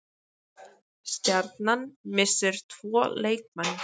Stjarnan missir tvo leikmenn